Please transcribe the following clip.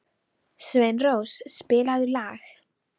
Sveinrós, spilaðu lag.